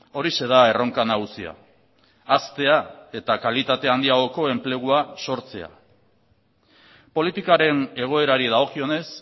horixe da erronka nagusia haztea eta kalitate handiagoko enplegua sortzea politikaren egoerari dagokionez